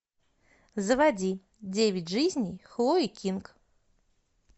заводи девять жизней хлои кинг